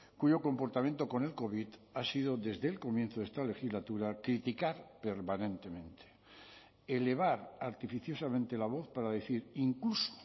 cuyo comportamiento con el covid ha sido desde el comienzo de esta legislatura criticar permanentemente elevar artificiosamente la voz para decir incluso